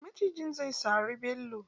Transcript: Macijin zai sari Bello.